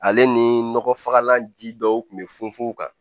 Ale ni nɔgɔ fagalan ji dɔw tun bɛ funu funu kan